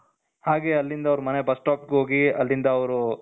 ಹಾಗೆ ಅಲ್ಲಿಂದ ಅವರ ಮನೆ ಬಸ್ stop ಹೋಗಿ ಅಲ್ಲಿಂದ ಅವರು